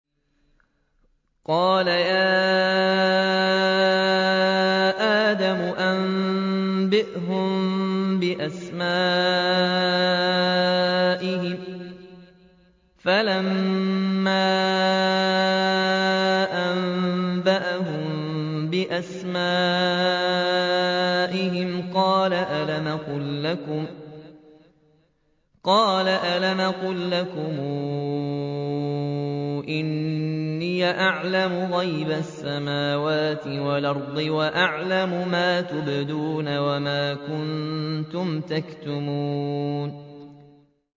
قَالَ يَا آدَمُ أَنبِئْهُم بِأَسْمَائِهِمْ ۖ فَلَمَّا أَنبَأَهُم بِأَسْمَائِهِمْ قَالَ أَلَمْ أَقُل لَّكُمْ إِنِّي أَعْلَمُ غَيْبَ السَّمَاوَاتِ وَالْأَرْضِ وَأَعْلَمُ مَا تُبْدُونَ وَمَا كُنتُمْ تَكْتُمُونَ